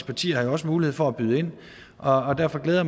partier har jo også mulighed for at byde ind og derfor glæder